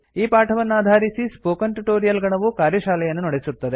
ಈ ಪಾಠವನ್ನಾಧಾರಿಸಿ spoken tutorial ಗಣವು ಕಾರ್ಯಶಾಲೆಯನ್ನು ನಡೆಸುತ್ತದೆ